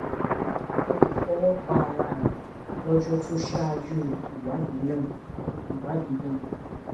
o lè fọwọ pa ara rẹ lọjọ tó ṣáájú ìwádìí náà ìwádìí náà